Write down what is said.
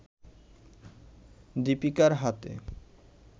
দিপিকার হাতে